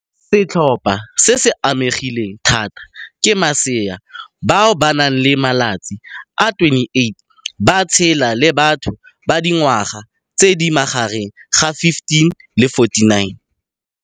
Setlhopha se se amegileng thata ke masea bao ba nang le malatsi a le 28 ba tshela, le batho ba dingwaga tse di magareng ga 15 le 49.